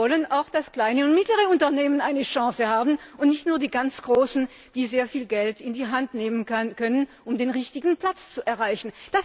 Wir wollen auch, dass kleine und mittlere Unternehmen eine Chance haben, und nicht nur die ganz Großen, die sehr viel Geld in die Hand nehmen können, um den richtigen Platz zu erreichen.